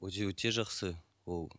өте өте жақсы ол